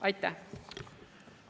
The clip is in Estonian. Aitäh!